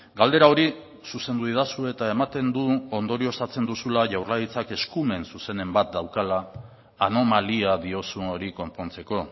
galdera hori zuzendu didazu eta ematen du ondorioztatzen duzula jaurlaritzak eskumen zuzenen bat daukala anomalia diozun hori konpontzeko